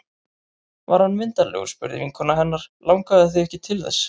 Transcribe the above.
Var hann myndarlegur? spurði vinkona hennar Langaði þig ekki til þess?